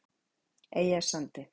Eyjasandi